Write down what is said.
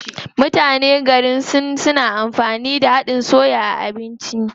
Mutanen garin Sin na amfani da haɗin soy a abinci.